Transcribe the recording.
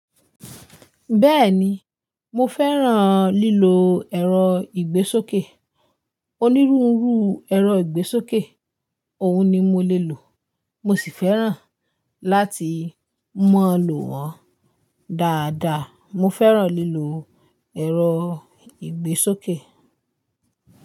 Bẹ́ẹ̀ni, mo fẹ́ràn lílo ẹ̀rọ ìgbésókè. Onírúurú ẹ̀rọ ìgbésókè òun ni mo lè lò. Mo sì fẹ́ràn láti mọ̀ lò wọ́n dáadáa. Mo fẹ́ràn lílo ẹ̀rọ ìgbésókè.